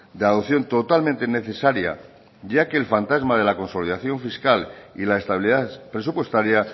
de adopción totalmente necesaria ya que el fantasma de la consolidación fiscal y la estabilidad presupuestaria